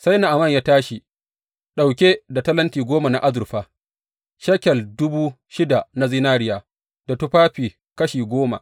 Sai Na’aman ya tashi, ɗauke da talenti goma na azurfa, shekel dubu shida na zinariya, da tufafi kashi goma.